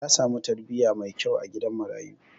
Ya samu tarbiyya mai kyau a gidan marayu.